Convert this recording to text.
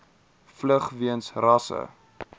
vlug weens rasse